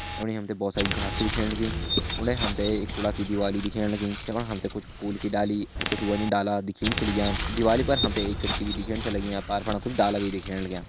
यमणी हम तें भोत सारी घास छ दिखेण लगी उंडे हम तें एक कुड़ा की दिवाली छ दिखेण लगी जफणा हम तें कुछ फुल की डाली अर कुछ वनि डाला दिखेण छ लग्यां दिवाली पर हम तें एक खिड़की भी दिखेण छ लगी अर पार फणा कुछ डाला भी दिखेण लग्यां।